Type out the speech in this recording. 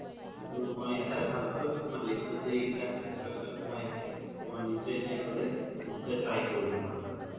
কিন্তু মই এটাই ভাল পালো তুমাৰ list ত যে এই কেইতা restaurant যে সুমাই আছে তুমাৰ নিশ্চয়ই এতিয়া গ্'লে নিশ্চয়ই try কৰিম তুমাৰ তাত গ্'লে